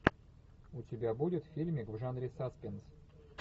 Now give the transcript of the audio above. у тебя будет фильмик в жанре саспенс